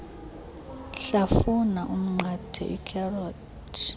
hlafuna umnqathe ikherothi